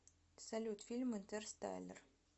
салют фильм интер стайлер